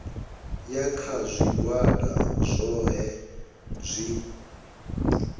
ya kha zwigwada zwohe zwi